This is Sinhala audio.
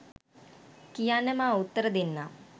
කියන්න මා උත්තර දෙන්නම්